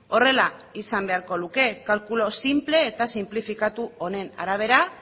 horrela izan beharko luke kalkulu sinple eta sinplifikatu honen arabera